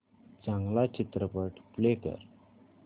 चांगला चित्रपट प्ले कर